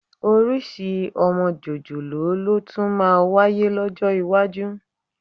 Orísìí ọmọ jòjòló ló tún máa wáyé lọ́jọ́ iwájú